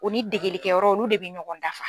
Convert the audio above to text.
O ni degelikɛ yɔrɔ olu de bɛ ɲɔgɔn dafa.